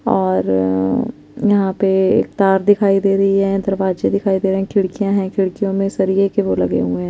और यहां पे तार दिखाई दे रही है दरवाजे दिखाई दे रहे है खिड़कियां है खिड़कियों में सरियो के वो लगे हुए है।